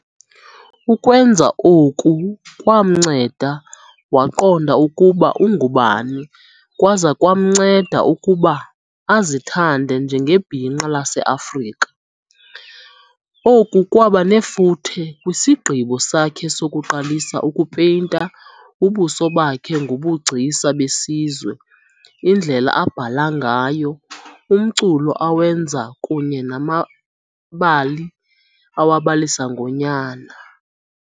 Ukwenza oku kwamnceda waqonda ukuba ungubani kwaza kwamnceda ukuba azithande njengebhinqa laseAfrika. Oku kwaba nefuthe kwisigqibo sakhe sokuqalisa ukupeyinta ubuso bakhe ngobugcisa besizwe, indlela abhala ngayo, umculo awenza kunye namabali awabalisa ngonyana.